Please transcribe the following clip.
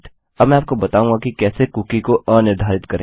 अब मैं आपको बताऊँगा कि कैसे कुकी को अनिर्धारित करें